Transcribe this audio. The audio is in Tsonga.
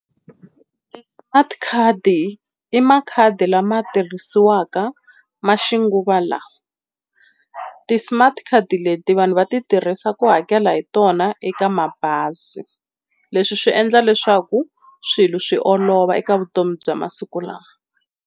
Ti-smart card i makhadi lama tirhisiwaka ma xinguvalawa. Ti-smart card leti vanhu va ti tirhisa ku hakela hi tona eka mabazi leswi swi endla leswaku swilo swi olova eka vutomi bya masiku lawa.